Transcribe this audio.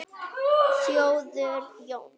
Þórður Jóns